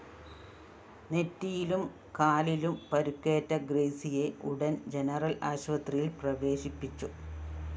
നെറ്റിയിലും കാലിലും പരുക്കേറ്റ ഗ്രേസിയെ ഉടന്‍ ജനറൽ ആശുപത്രിയില്‍ പ്രവേശിപ്പിച്ചു